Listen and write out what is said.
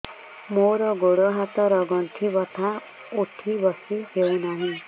ମୋର ଗୋଡ଼ ହାତ ର ଗଣ୍ଠି ବଥା ଉଠି ବସି ହେଉନାହିଁ